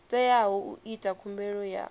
teaho u ita khumbelo ya